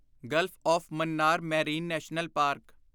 Gulf of Mannar marine national park